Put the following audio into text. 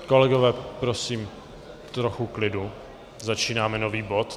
Kolegové, prosím, trochu klidu, začínáme nový bod.